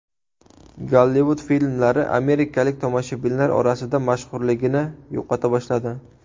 Gollivud filmlari amerikalik tomoshabinlar orasida mashhurligini yo‘qota boshladi.